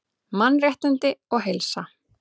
Mannréttindi og heilsa